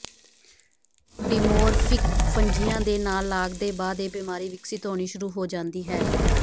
dimorphic ਫੰਜੀਆਂ ਦੇ ਨਾਲ ਲਾਗ ਦੇ ਬਾਅਦ ਇਹ ਬਿਮਾਰੀ ਵਿਕਸਿਤ ਹੋਣੀ ਸ਼ੁਰੂ ਹੋ ਜਾਂਦੀ ਹੈ